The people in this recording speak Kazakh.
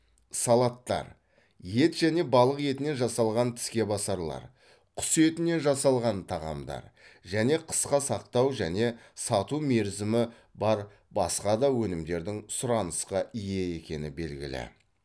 салаттар ет және балық етінен жасалған тіскебасарлар құс етінен жасалған тағамдар және қысқа сақтау және сату мерзімі бар басқа да өнімдердің сұранысқа ие екені белгілі